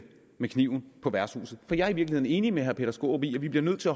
med kniven på værtshuset for jeg er i virkeligheden enig med herre peter skaarup i at vi bliver nødt til